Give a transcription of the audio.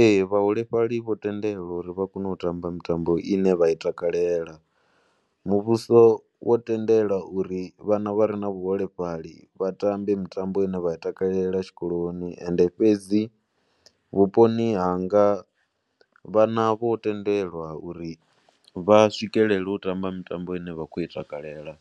Ee, vhaholefhali vho tendelwa uri vha kone u tamba mitambo i ne vha takalela. Muvhuso wo tendela uri vhana vha vhaholefhali vha tambe mitambo i ne vha i takalela tshikoloni. Ende fhedzi vhuponi hanga vhana vho tendelwa uri vha swikelele u tambo mitambo i ne vha khou i takalela